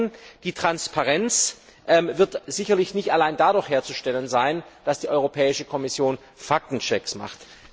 Zum zweiten wird die Transparenz sicherlich nicht allein dadurch herzustellen sein, dass die Europäische Kommission Faktenchecks macht.